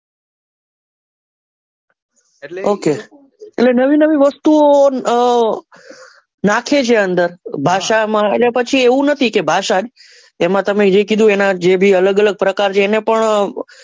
Okay તો એ નવી નવી વસ્તુ ઓ આહ નાખે છે અંદર ભાષા માં અને પછી એવું નથી કે ભાષા જ એને તમે જે કીધું એ એના જે બી અલગ અલગ પ્રકાર છે એને પણ,